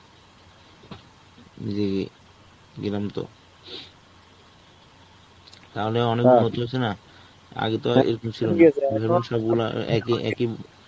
যে গেলাম তো. তাহলে অনেক না. আগে তো আর এরকম ছিল না. সবগুলা একই একই